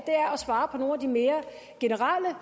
svare på nogle de mere generelle